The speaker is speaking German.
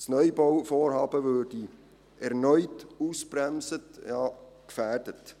Das Neubauvorhaben würde erneut ausgebremst, ja gefährdet.